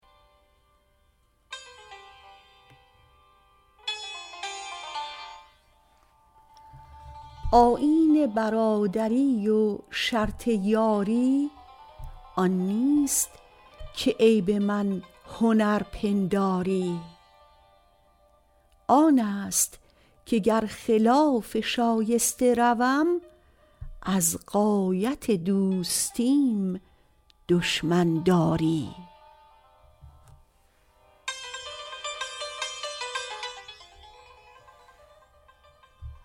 آیین برادری و شرط یاری آن نیست که عیب من هنر پنداری آنست که گر خلاف شایسته روم از غایت دوستیم دشمن داری